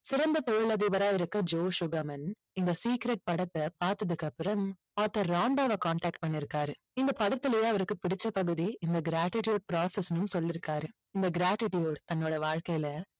சிறந்த தொழிலதிபரா இருக்க ஜோஸ் சுகமன் இந்த secret படத்தை பார்த்ததுக்கு அப்புறம் author ராண்டாவ contact பண்ணிருக்காரு. இந்த படத்திலேயே அவருக்கு பிடிச்ச பகுதி இந்த gratitude process னு சொல்லிருக்காரு. இந்த gratitude தன்னோட வாழ்க்கையில